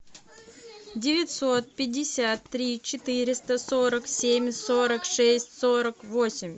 девятьсот пятьдесят три четыреста сорок семь сорок шесть сорок восемь